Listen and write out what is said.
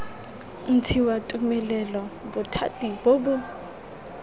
ntshiwa tumelelo bothati bo bo